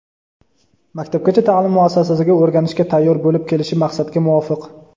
Maktabgacha taʼlim muassasasiga "o‘rganishga tayyor" bo‘lib kelishi maqsadga muvofiq.